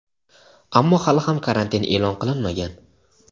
ammo hali ham karantin e’lon qilinmagan.